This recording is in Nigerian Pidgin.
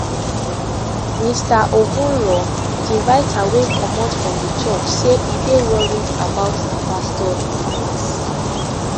mr ogunro di writer wey comot from di church say e dey worried about di pastor influence